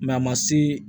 a ma se